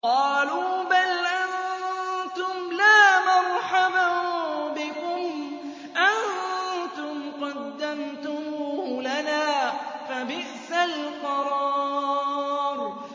قَالُوا بَلْ أَنتُمْ لَا مَرْحَبًا بِكُمْ ۖ أَنتُمْ قَدَّمْتُمُوهُ لَنَا ۖ فَبِئْسَ الْقَرَارُ